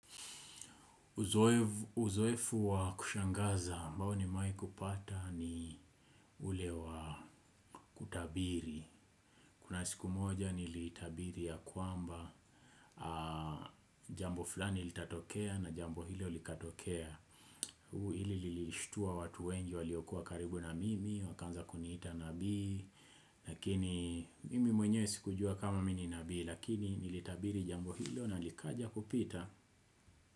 Uzoefu wa kushangaza ambao nimewahi kupata ni ule wa kutabiri. Kuna siku moja nilitabiri ya kwamba jambo fulani litatokea na jambo hilo likatokea. Huu ili lilishtua watu wengi waliokuwa karibu na mimi, wakaanza kuniita nabii. Lakini mimi mwenye sikujua kama mimi ni nabii lakini nilitabiri jambo hilo na likaja kupita.